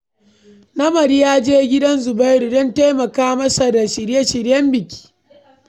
Namadi ya je gidan Zubairu don taimaka masa da shirye-shiryen biki.